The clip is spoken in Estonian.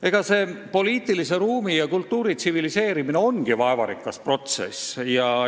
Eks poliitilise ruumi ja kultuuri tsiviliseerimine ongi vaevarikas protsess.